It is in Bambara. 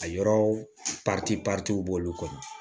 A yɔrɔ b'olu kɔnɔ